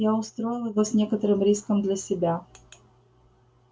я устроил его с некоторым риском для себя